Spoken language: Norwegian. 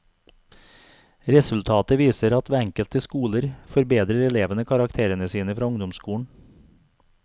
Resultatet viser at ved enkelte skoler forbedrer elevene karakterene sine fra ungdomsskolen.